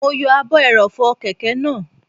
Mo yọ ààbò ẹrọ̀fọ̀ kẹ̀kẹ́ náà